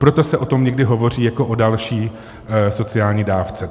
Proto se o tom někdy hovoří jako o další sociální dávce.